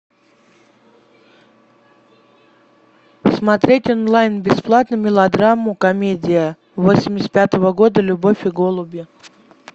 смотреть онлайн бесплатно мелодраму комедия восемьдесят пятого года любовь и голуби